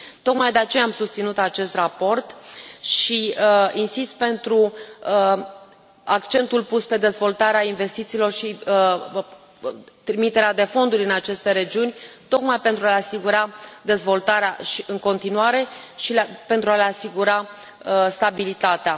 Tocmai de aceea am susținut acest raport și insist pentru accentul pus pe dezvoltarea investițiilor și trimiterea de fonduri în aceste regiuni tocmai pentru a le asigura dezvoltarea în continuare și pentru a le asigura stabilitatea.